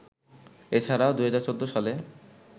এ ছাড়াও ২০১৪ সালে